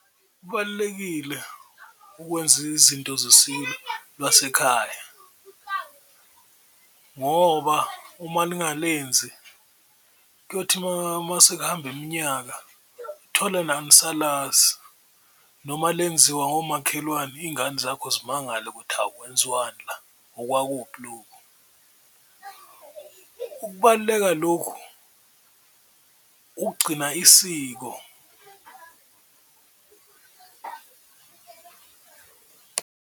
Kubalulekile ukwenza izinto lwasekhaya ngoba uma ningalenzi kuyothi masekuhamba iminyaka uthole la angisalazi noma lenziwa ngomakhelwane iy'ngane zakho zimangale kuthi awu kwenziwani la, okwakuphi lokhu, ukubaluleka lokhu ukugcina isiko.